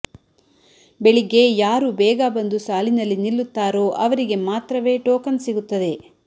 ಬೆಳಿಗ್ಗೆ ಯಾರು ಬೇಗ ಬಂದು ಸಾಲಿನಲ್ಲಿ ನಿಲ್ಲುತ್ತಾರೋ ಅವರಿಗೆ ಮಾತ್ರವೇ ಟೋಕನ್ ಸಿಗುತ್ತದೆ